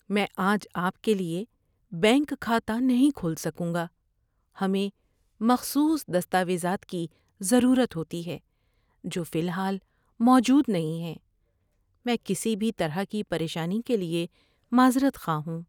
میں آج آپ کے لیے بینک کھاتہ نہیں کھول سکوں گا۔ ہمیں مخصوص دستاویزات کی ضرورت ہوتی ہے جو فی الحال موجود نہیں ہیں۔ میں کسی بھی طرح کی پریشانی کے لیے معذرت خواہ ہوں۔